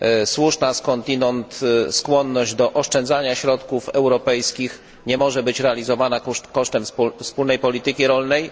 Słuszna skądinąd skłonność do oszczędzania środków europejskich nie może być realizowana kosztem wspólnej polityki rolnej.